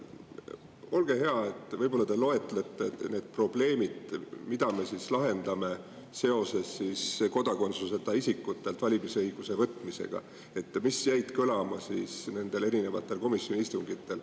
Olge hea, võib-olla te loetlete need probleemid, mida me siis lahendame seoses kodakondsuseta isikutelt valimisõiguse võtmisega ja mis jäid kõlama nendel komisjoni istungitel.